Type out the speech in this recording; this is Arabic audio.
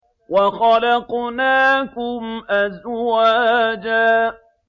وَخَلَقْنَاكُمْ أَزْوَاجًا